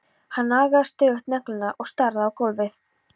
Hann nagaði stöðugt neglurnar og starði á gólfið.